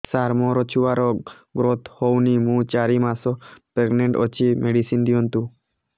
ସାର ମୋର ଛୁଆ ର ଗ୍ରୋଥ ହଉନି ମୁ ଚାରି ମାସ ପ୍ରେଗନାଂଟ ଅଛି ମେଡିସିନ ଦିଅନ୍ତୁ